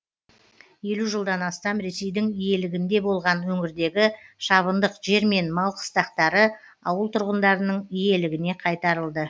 елу жылдан астам ресейдің иелігінде болған өңірдегі шабындық жер мен мал қыстақтары ауыл тұрғындарының иелігіне қайтарылды